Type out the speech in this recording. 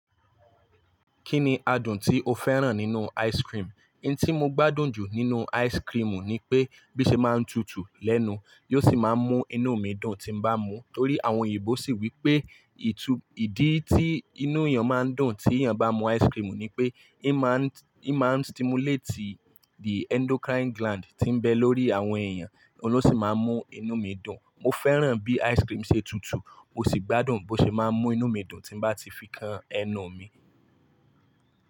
Kí ni adùn tí o fẹ́ràn nínú ice cream? In tí mo gbádùn jù nínú ice cream ni pé bí ṣe máa ń tutù lẹ́nu, yi ò sì máa n mú inú mi dùn tí n bá mu. Nítorí àwọn òyìnbó sì wí pé ìdí tí inú èèyàn máa ń dùn tí èèyàn bá mú ice cream ni pé, í máa stimulate the endocrine gland tí ń bẹ lórí àwọn èèyàn, oun losì máa n mú inú mi dùn. Mo fẹ́ràn bí ice cream ṣe tutù, mo sì gbádùn bó ṣe máa ń mú inú mi dùn tí bá ti fi kan ẹnu mi.